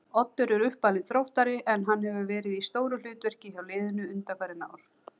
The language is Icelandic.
Oddur er uppalinn Þróttari en hann hefur verið í stóru hlutverki hjá liðinu undanfarin ár.